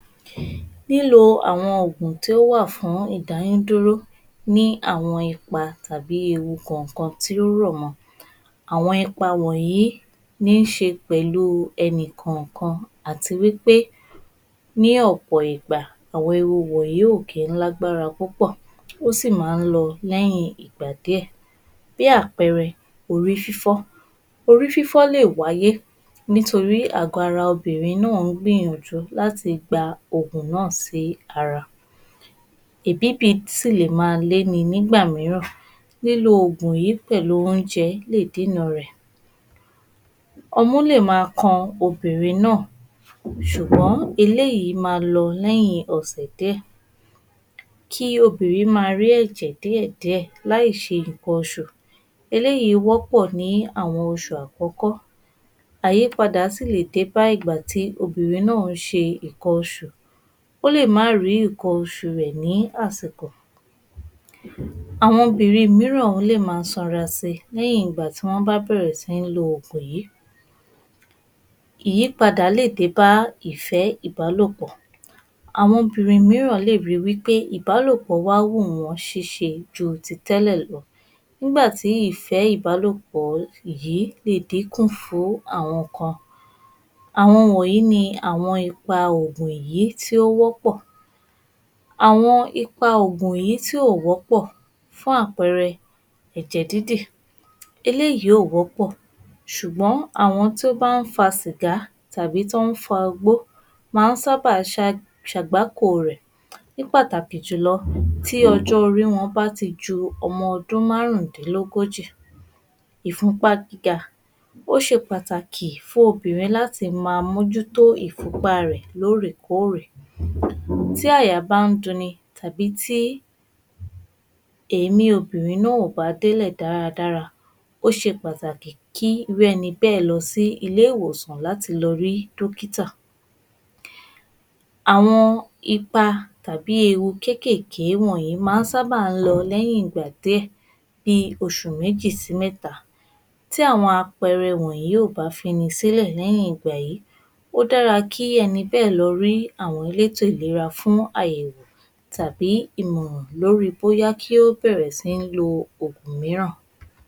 Lílo àwọn ògùn tí ó wà fún ìdáyún dúró ní àwọn ipa tàbí ewu kànkan tí ó rọ̀ mọ. Àwọn ipa wọ̀nyí ní ṣe pẹ̀lú ẹni kànkan àti wí pé ní ọ̀pọ̀ ìgbà àwọn ewu yìí ò kí ń lágbára púpọ̀, ó sì máa ń lọ lẹ́yìn ìgbà díẹ̀. Bí àpẹẹrẹ, Orí fífọ́, Orí fífọ́ fífọ́ lè wáyé nítorí àgọ̀ ara Obìnrin náà ń gbìyànjú láti gbé Ògùn náà sára. Èbíbì sì lè máa le nígbà mìíràn. Lílo Ògùn yìí pẹ̀lú oúnjẹ lè dínà rẹ̀. Ọmú lè máa kan obìnrin náà, ṣùgbọ́n eléyìí máa lọ lẹ́yìn ọ̀sẹ̀ díẹ̀, kí obìnrin máa rí ẹ̀jẹ̀ díẹ̀ díẹ̀ láì ṣe nǹkan oṣù. Eléyìí wọ́pọ̀ ni àwọn oṣù àkọ́kọ́, àyípadà sì lè dé bá ìgbà tí obìnrin náà ń ṣe nnkan oṣù. Ó lè má rí nǹkan oṣù rẹ̀ ní àsìkò Àwọn obìnrin mìíràn lè máa sanra si lẹ́yìn ìgbà tí wọ́n bá bẹ̀rẹ̀ sí ní lo ògùn yí.. Ìyípadà lè dé bá ìfẹ́ ìbálòpọ̀. Àwọn obìnrin mìíràn lè rí wí pé ìbálòpọ̀ wùn wọ́n ṣíṣe ju tẹ́lẹ̀ lọ nígbà tí ìfẹ́ ìbálòpọ̀ yí lè díkùn fún àwọn kan. Àwọn wọ̀nyí ni ipa ògùn yí tí ó wọ́pọ̀. Àwọn ipa ògùn yìí tí ò wọ́pọ̀. Fún àpẹẹrẹ; Ẹ̀jẹ̀ dídì,\ eléyìí ò wọ́pọ̀, ṣùgbọ́n àwọn tí ó bá ń fa sìgá tàbí tí wọ́n ń fagbó má ń sábà ṣe àgbákò rẹ. Ní pàtàkì jùlọ, tí ọjọ́ orí wọn bá ti ju ọmọ ọdún márùndínlógójì. Ìfunpá gíga ó ṣe pàtàkì fún obìnrin láti máa mújútó Ìfunpá rẹ ẹ̀ lórèkòórè. Tí àyà bá ń duni tàbí tí èémí obìnrin kò bá délẹ̀ dáadáa, ó ṣe pàtàkì kí ẹni bẹ́ẹ̀ lọ sí ilé ìwòsàn láti lọ rí dókítà. Àwọn ipa tàbí ewu kékéèké wọ̀nyí máa ń sábà lọ lẹ́yìn ìgbà díẹ̀ bí oṣù méjì sí mẹ́ta. Tí àwọn àpẹẹrẹ wọ̀nyí kò bá fini sílẹ̀ ní ìgbà yìí, ó dára kí ẹni bẹ́ẹ̀ lọ rí àwọn elétò ìlera fún àyèwò tàbí ìmọ̀ràn lórí bóyá kí ó bẹ̀rẹ̀ sí ní lo ògùn mìíràn.